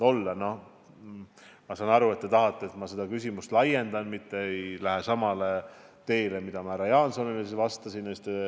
Ma saan aru, et te tahate, et ma seda vastust laiendan, mitte ei lähe samale teele, mida kasutasin härra Jaansonile vastates.